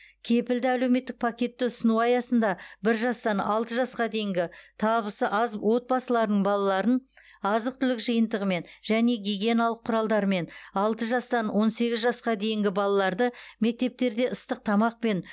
кепілді әлеуметтік пакетті ұсыну аясында бір жастан алты жасқа дейінгі табысы аз отбасыларының балаларын азық түлік жиынтығымен және гигиеналық құралдармен алты жастан он сегіз жасқа дейінгі балаларды мектептерде ыстық тамақпен